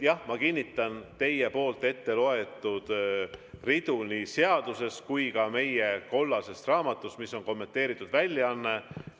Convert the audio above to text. Jah, ma kinnitan teie etteloetud ridu nii seadusest kui ka meie kollasest raamatust, mis on kommenteeritud väljaanne.